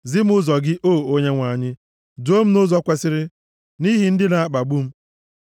Zi m ụzọ gị, O Onyenwe anyị; duo m nʼụzọ kwesiri nʼihi ndị na-akpagbu m.